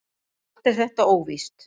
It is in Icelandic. Allt er þetta óvíst.